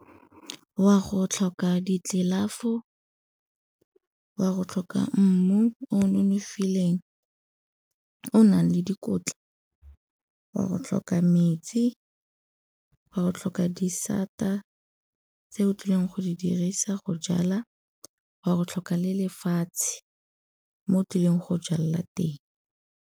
Wa go tlhoka ditlelafo, wa go tlhoka mmu o nonofileng o nang le dikotla, wa go tlhoka metsi, wa go tlhoka disata tse o tlileng go di dirisa go jala, wa go tlhoka le lefatshe mo tlileng go jalela teng.